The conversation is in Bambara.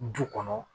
Du kɔnɔ